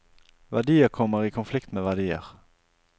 Verdier kommer i konflikt med verdier.